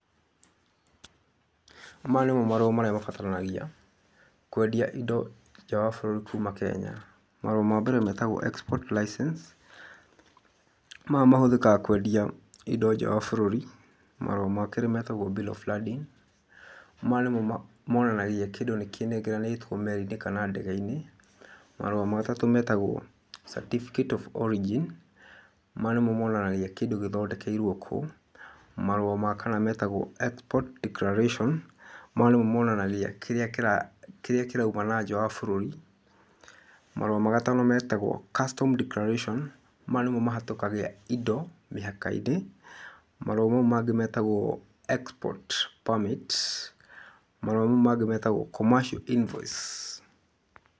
Maya nĩmo marũa marĩa mabataranagia kũendia indo nja wa bũrũri kuuma Kenya: Marũa ma mbere meetagwo export license. Maya mahũthĩkaga kũendia indo nja wa bũrũri. Marũa ma kerĩ meetagwo bill of landing. Maya nĩmo moonanagia kĩndũ nĩ kĩnengeranĩtwo meri-inĩ kana ndege-inĩ. Marũa ma gatatũ meetagwo certificate of origin. Maya nĩmo moonanagia kĩndũ gĩthondekeirwo kũ. Marũa ma kana meetagwo export declaration. Maya nĩmo moonanagia kirĩa kĩrĩa kĩrauma nanja wa bũrũri. Marũa ma gatano meetagwo custom declaration. Maya nĩmo mahatũkagia indo mĩhaka-inĩ. Marũa mau mangĩ meetagwo export permit. Marũa mau mangĩ meetagwo commercial invoice.